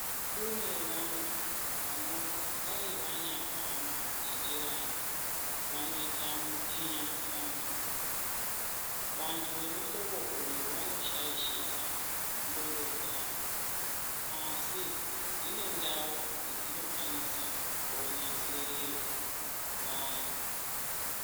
Kune vantu vanoti dai vanyafamba nenjiranyi vanoita mutinyasando. Vanhu vemuhlobo uyu vanoshaishika ndhlondo dzawo, asi dzine ndau yedzinokwanisa konasirirwa vari.